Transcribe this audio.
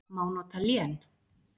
Má nota lén